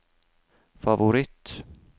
favoritt